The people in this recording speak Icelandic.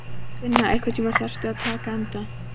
Finna, einhvern tímann þarf allt að taka enda.